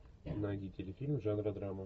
найди телефильм жанра драма